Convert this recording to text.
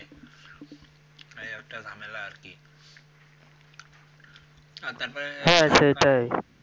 হ্যাঁ সেটাই